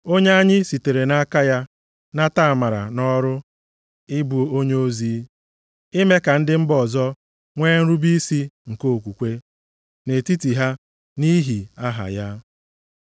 Onye anyị sitere nʼaka ya nata amara na ọrụ ị bụ onyeozi, ime ka ndị mba ọzọ nwee nrube isi nke okwukwe nʼetiti ha nʼihi aha ya.